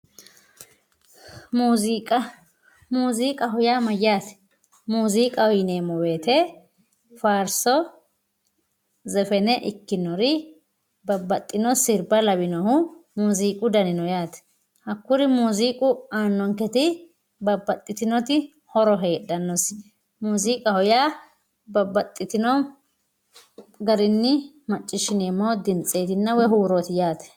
muziiqa muziiqaho yaa mayaate muziiqaho yineemo woyiite faarso, zefene ikinori babbaxino sirba lawinohu muziiqu dani no yaate hakkuri muziiqu aanonketi babbaxitinoti horo heedhanosi muziiqaho yaa babbaxitino garinni maciishineemo dimtsetinna woy huurooti yaate.